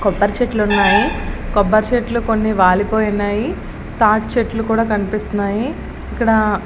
కొబ్బరి చెట్లు ఉన్నాయి. కొబ్బరి చెట్లు కొన్ని వాలిపోయి ఉన్నాయి. తాటి చెట్లు కూడా కనిపిస్తున్నాయి. ఇక్కడా --